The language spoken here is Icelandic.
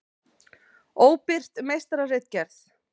Óbirt meistararitgerð.